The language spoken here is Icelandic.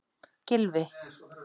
Gylfi